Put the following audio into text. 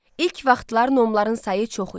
İlk vaxtlar nomların sayı çox idi.